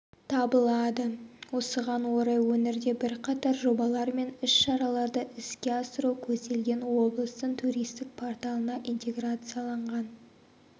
табылады осыған орай өңірде бірқатар жобалар мен іс-шараларды іске асыру көзделген облыстың туристік порталына интеграцияланған